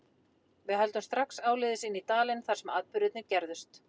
Við höldum strax áleiðis inn í dalinn þar sem atburðirnir gerðust.